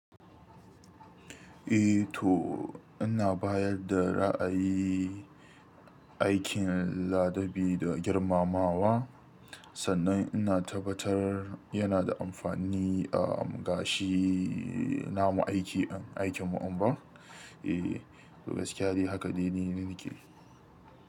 Eh to ina bayar da ra'ayi aikin ladabi da girmamawa, sannan ina tabbatar yana da amfani ga shi, namu aiki, aikin mu anɓar. Eh, gaskiya ni haka dai ni nake.